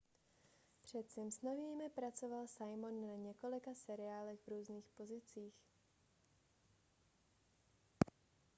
před simpsonovými pracoval simon na několika seriálech v různých pozicích